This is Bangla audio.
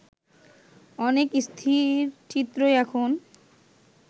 অনেক স্থিরচিত্রই এখন